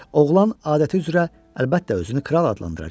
Oğlan adəti üzrə əlbəttə özünü kral adlandıracaqdı.